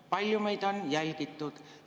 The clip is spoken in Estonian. "Kui palju meid on jälgitud?